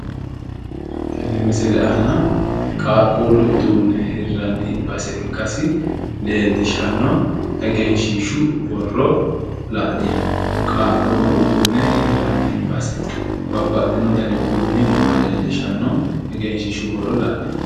Tene misille aanna qaaquulu uduune hiranni base ikkasi leelishano egenshiishshu borro la'nemo qaaquullu uduune hiranni base babbaxino danni uduunni nooha leelishano egenshilshshu borro la'neemo.